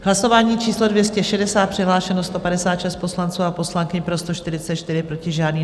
Hlasování číslo 260, přihlášeno 156 poslanců a poslankyň, pro 144, proti žádný.